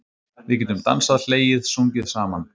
Við getum dansað, hlegið, sungið saman.